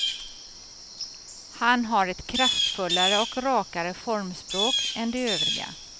Han har ett kraftfullare och rakare formspråk än de övriga.